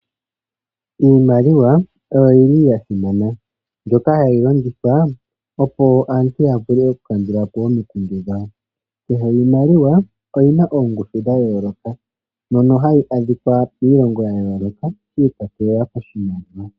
Iimaliwa oyo yili ya simana mbyoka hayi longithwa opo aantu ya vule okukandulapo omikundu dhawo. Kakele iimaliwa oyina ongushu dha yooloka mono hayi adhikwa piilongo ya yooloka, shi ikwatelela koshimaliwa.